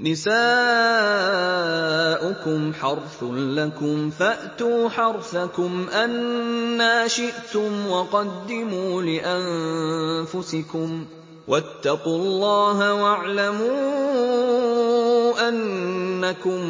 نِسَاؤُكُمْ حَرْثٌ لَّكُمْ فَأْتُوا حَرْثَكُمْ أَنَّىٰ شِئْتُمْ ۖ وَقَدِّمُوا لِأَنفُسِكُمْ ۚ وَاتَّقُوا اللَّهَ وَاعْلَمُوا أَنَّكُم